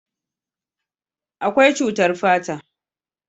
akwai cutar fata